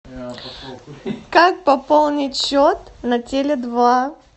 как пополнить счет на теле два